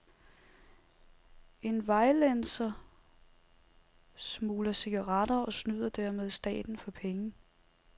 En vejlenser smugler cigaretter og snyder dermed staten for penge.